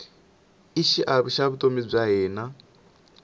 i xiave xa vutomi bya hina